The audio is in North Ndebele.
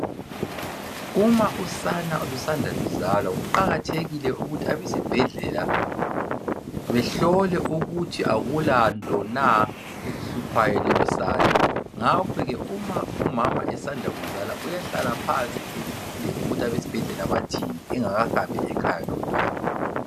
Uma usana olusanda kuzalwa kuqakathekile ukuthi abesibhedlela behlole ukuthi akulanto na, elihluphayo lolusana. ngakho ke uma umama esanda kuzala uyahlala phansi alinde ukuthi abesibhedlela bathini, engakahambi lomntwana ekhaya.